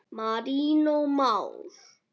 Marinó Már.